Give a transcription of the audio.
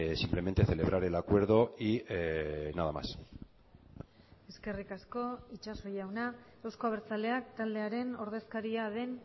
simplemente celebrar el acuerdo y nada más eskerrik asko itxaso jauna euzko abertzaleak taldearen ordezkaria den